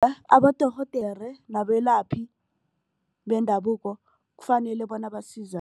Abodorhodera nabelaphi bendabuko kufanele bona